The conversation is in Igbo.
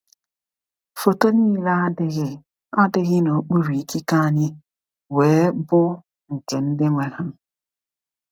Foto niile adịghị adịghị n’okpuru ikike anyị wee bụ nke ndị nwe ha.